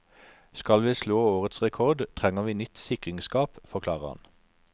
Skal vi slå årets rekord, trenger vi nytt sikringsskap, forklarer han.